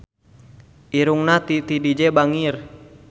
Irungna Titi DJ bangir